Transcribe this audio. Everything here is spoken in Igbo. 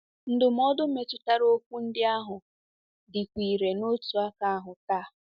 Ndụmọdụ metụtara okwu ndị ahụ dịkwa irè n’otu aka ahụ taa